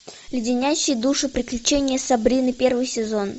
леденящие душу приключения сабрины первый сезон